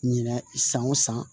Ɲinɛ san o san